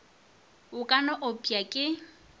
o ka no opša ke